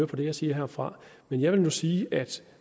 på det jeg siger herfra men jeg vil nu sige at